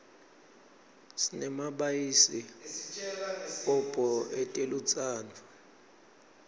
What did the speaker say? sinemabayisi kobho etelutsandvo